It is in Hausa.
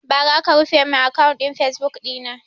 Bara aka rufe mun akant ɗin fasebuk ɗina